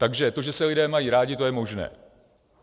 Takže to, že se lidé mají rádi, to je možné.